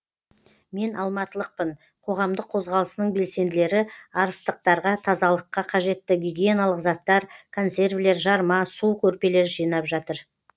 мен алматылықпын қоғамдық қозғалысының белсенділері арыстықтарға тазалыққа қажетті гигиеналық заттар консервілер жарма су көрпелер жинап жатыр